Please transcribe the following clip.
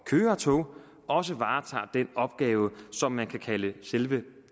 køre tog også varetager den opgave som man kan kalde selve